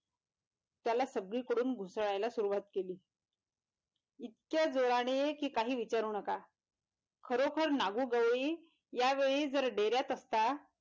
त्याला सगळी कडून घुसळायला सुरुवात केली इतक्या जोराने कि काही विचारू नका खरोखर नागू गवळी यावेळी जर डेऱ्यात असता.